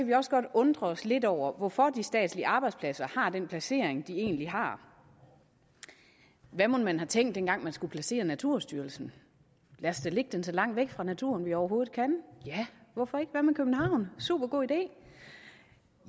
vi også godt undre os lidt over hvorfor de statslige arbejdspladser har den placering de egentlig har hvad mon man har tænkt dengang man skulle placere naturstyrelsen lad os da lægge den så langt fra naturen vi overhovedet kan ja hvorfor ikke hvad med københavn supergod idé